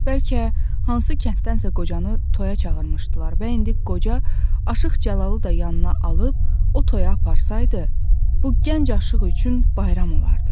Bəlkə hansı kənddənsə qocanı toyaya çağırmışdılar və indi qoca Aşıq Cəlalı da yanına alıb o toyaya aparsaydı, bu gənc aşıq üçün bayram olardı.